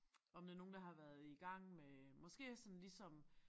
Om det nogen der har været i gang med måske øh sådan ligesom